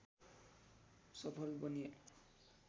सफल बने